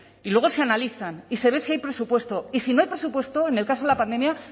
y luego se analizan y se ve si hay presupuesto y si no hay presupuesto en el caso de la pandemia